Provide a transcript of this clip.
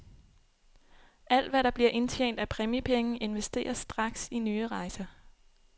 Alt hvad der bliver indtjent af præmiepenge, investeres straks i nye rejser.